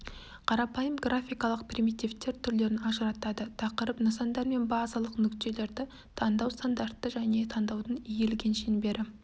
қарапайым графикалық примитивтер түрлерін ажыратады тақырып нысандар мен базалық нүктелерді таңдау стандартты және таңдаудың иілген шеңбері